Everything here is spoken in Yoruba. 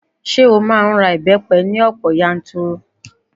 Ṣé ó máa ń ra ìbẹ́pẹ ní ọ̀pọ̀ yanturu?